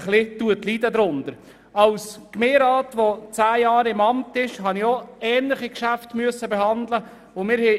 Als Gemeinderat habe ich in zehnjähriger Amtstätigkeit ähnliche Geschäfte behandeln müssen.